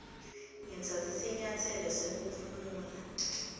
ngitsatse sinyatselo sekuphumula